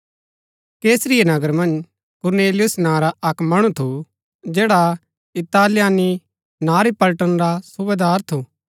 कैसरिया नगर मन्ज कुरनेलियुस नां रा अक्क मणु थु जैडा इतालियानी नां री पलटन रा सुबेदार थु